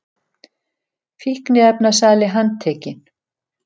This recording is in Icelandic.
Fíkniefnasali handtekinn